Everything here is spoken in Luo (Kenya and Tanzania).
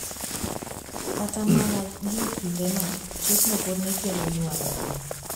Kata mana gie kindeno, chikno pod ne kelo ywaruok.